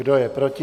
Kdo je proti?